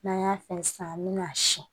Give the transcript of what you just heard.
N'an y'a fɛn sisan an bi na si